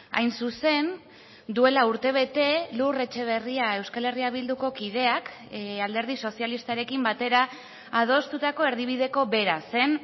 hain zuzen duela urtebete lur etxeberria euskal herria bilduko kideak alderdi sozialistarekin batera adostutako erdibideko bera zen